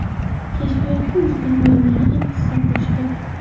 Kashfiyotga o‘zbek olimlari ham hissa qo‘shdi.